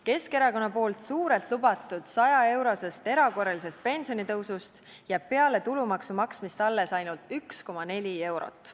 Keskerakonna suurelt lubatud 100-eurosest erakorralisest pensionitõusust jääb peale tulumaksu maksmist alles ainult 1,4 eurot.